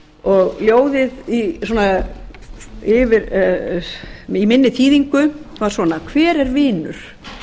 og ljóðið í minni þýðingu var svona hver er vinur